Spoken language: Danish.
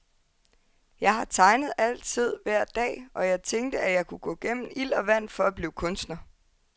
Jeg har tegnet altid, hver dag, og jeg tænkte, at jeg kunne gå gennem ild og vand for at blive kunstner.